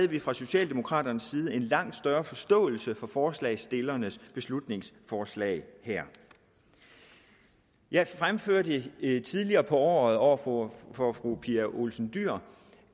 vi fra socialdemokraternes side have en langt større forståelse for forslagsstillernes beslutningsforslag her jeg fremførte tidligere på året over for fru pia olsen dyhr